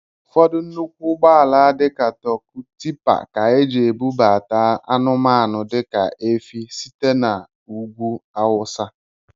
Ụfọdụ nnụkwụ ụgbọala dị ka torku, tippea ka eji ebubata anumanu dika efi site n'ugwú awụsa.